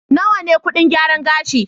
Nawa ne kuɗin gyaran gashi?